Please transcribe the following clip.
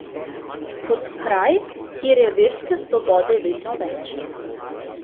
Kot kraj, kjer je verske svobode vedno več.